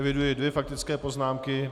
Eviduji dvě faktické poznámky.